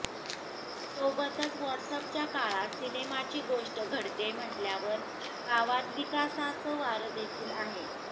सोबतच व्हॉट्सअॅपच्या काळात सिनेमाची गोष्ट घडतेय म्हटल्यावर गावात विकासाचं वारं देखील आहे